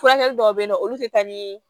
Furakɛli dɔw bɛ yen nɔ olu tɛ taa nii